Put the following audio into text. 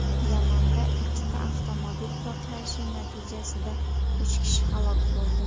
Yamanda ikkita avtomobil portlashi natijasida uch kishi halok bo‘ldi.